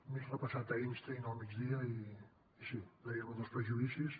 m’he repassat einstein al migdia i sí deia lo dels prejudicis